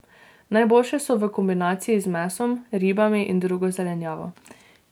Najboljše so v kombinaciji z mesom, ribami in drugo zelenjavo.